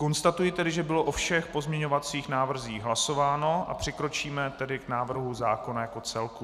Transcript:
Konstatuji tedy, že bylo o všech pozměňovacích návrzích hlasováno, a přikročíme tedy k návrhu zákona jako celku.